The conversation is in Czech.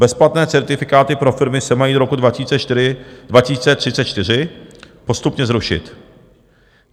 Bezplatné certifikáty pro firmy se mají do roku 2034 postupně zrušit.